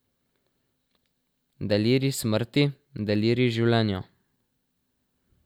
Delirij smrti, delirij življenja.